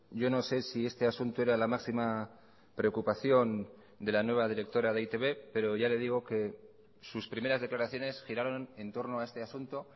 yo no sé si este asunto era la máxima preocupación de la nueva directora de e i te be pero ya le digo que sus primeras declaraciones giraron entorno a este asunto